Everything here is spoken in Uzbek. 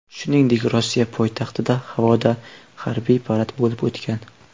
Shuningdek, Rossiya poytaxtida havoda harbiy parad bo‘lib o‘tgan.